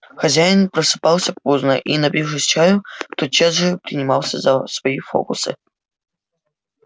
хозяин просыпался поздно и напившись чаю тотчас же принимался за свои фокусы